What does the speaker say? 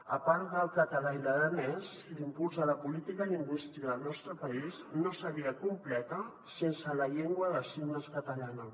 a part del català i l’aranès l’impuls de la política lingüística al nostre país no seria completa sense la llengua de signes catalana